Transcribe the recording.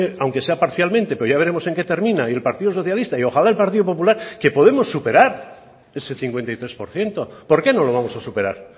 aunque sea parcialmente pero ya veremos en qué termina y el partido socialista y ojalá el partido popular que podemos superar ese cincuenta y tres por ciento por qué no lo vamos a superar